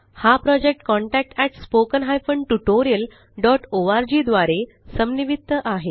हा project contactspoken tutorialorg द्वारे समन्वित आहे